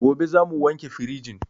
Gobe zamu wanke firijin